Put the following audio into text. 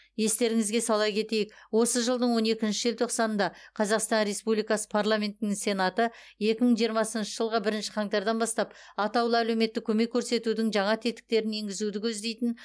естеріңізге сала кетейік осы жылдың он екінші желтоқсанында қазақстан республикасы парламентінің сенаты екі мың жиырмасыншы жылғы бірінші қаңтардан бастап атаулы әлеуметтік көмек көрсетудің жаңа тетіктерін енгізуді көздейтін